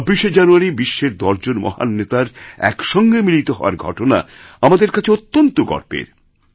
২৬শে জানুয়ারিবিশ্বের দশজন মহান নেতার একসঙ্গে মিলিত হওয়ার ঘটনা আমাদের কাছে অত্যন্ত গর্বের